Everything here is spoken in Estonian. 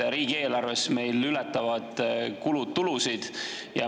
Riigieelarves ületavad meil kulud tulusid.